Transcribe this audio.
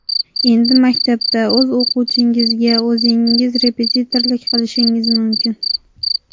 Endi maktabda o‘z o‘quvchingizga o‘zingiz repetitorlik qilishingiz mumkin!